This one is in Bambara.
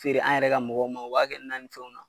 Feere an yɛrɛ ka mɔgɔw ma o b'a kɛ nan ni fɛnw na.